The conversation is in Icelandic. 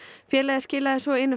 félagið skilaði svo inn